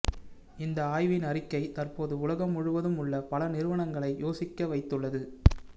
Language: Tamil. இந்த ஆய்வின் அறிக்கை தற்போது உலகம் முழுவதும் உள்ள பல நிறுவனங்களை யோசிக்க வைத்துள்ளது